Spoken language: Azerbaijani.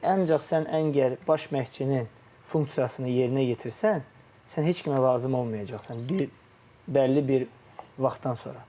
Çünki ancaq sən əngəl baş məşqçinin funksiyasını yerinə yetirsən, sən heç kimə lazım olmayacaqsan bir bəlli bir vaxtdan sonra.